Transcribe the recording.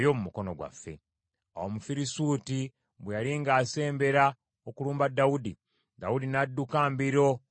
Awo Omufirisuuti bwe yali ng’asembera okulumba Dawudi, Dawudi n’adduka mbiro okumusisinkana.